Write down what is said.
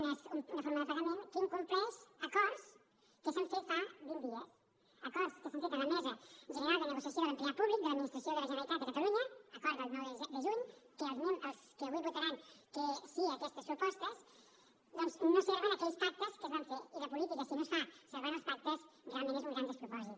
una forma de pagament que incompleix acords que s’han fet fa vint dies acords que s’han fet a la mesa general de negociació de l’empleat públic de l’administració de la generalitat de catalunya acord del nou de juny que els que avui votaran que sí a aquestes propostes doncs no serven aquells pactes que es van fer i la política si no es fa servant els pactes realment és un gran despropòsit